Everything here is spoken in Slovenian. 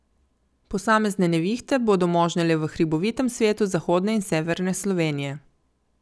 Posamezne nevihte bodo možne le v hribovitem svetu zahodne in severne Slovenije.